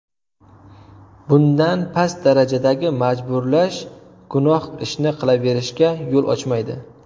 Bundan past darajadagi majburlash gunoh ishni qilaverishga yo‘l ochmaydi.